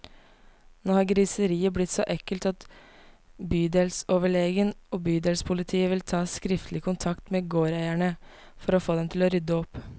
Nå har griseriet blitt så ekkelt at bydelsoverlegen og bydelspolitiet vil ta skriftlig kontakt med gårdeierne, for å få dem til å rydde opp.